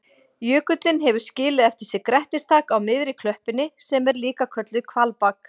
Jökullinn hefur skilið eftir sig grettistak á miðri klöppinni sem er líka kölluð hvalbak.